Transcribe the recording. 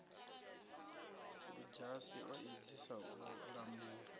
ludzhasi o edzisa u lamula